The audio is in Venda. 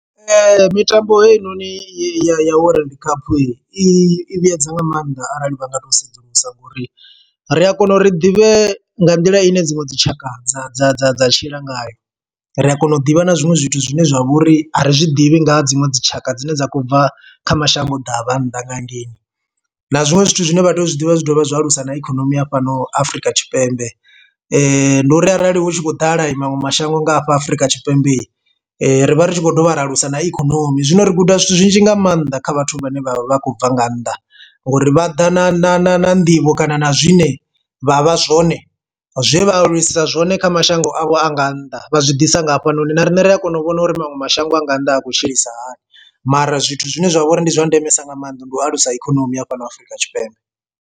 Mitambo heinoni i ya world cup i vhuedza nga maanḓa arali vha nga to sedzulusa ngori ri a kona uri ḓivhe nga nḓila i ne dziṅwe dzi tshaka dza dza dza dza tshila ngayo ri a kona u ḓivha na zwiṅwe zwithu zwine zwa vhori a ri zwiḓivhi nga dziṅwe dzi tshaka dzine dza khou bva kha mashango ḓavha nnḓa nga hangeini. Na zwiṅwe zwithu zwine vhatea uzwi ḓivha zwi dovha zwa alusa ikonomi ya fhano Afrika Tshipembe ndi uri arali hu tshi khou ḓala i maṅwe mashango nga afha Afurika Tshipembe ri vha ri tshi khou dovha ra alusa na ikonomi. Zwino ri guda zwithu zwinzhi nga maanḓa kha vhathu vhane vha vha khou bva nga nnḓa ngori vha ḓa na na na na nḓivho kana na zwine vha vha zwone zwe vha aluwisa zwone kha mashango avho, a nga nnḓa vha zwi ḓisa nga hafhanoni na riṋe ri a kona u vhona uri maṅwe mashango a nga nnḓa a khou tshilisa hani mara zwithu zwine zwa vha uri ndi zwa ndemesa nga maanḓa ndi u alusa ikonomi ya fhano Afurika Tshipembe.